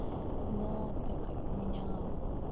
но так как меня